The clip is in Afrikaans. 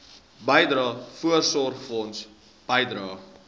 bydrae voorsorgfonds bydrae